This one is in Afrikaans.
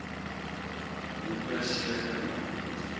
howe seker maak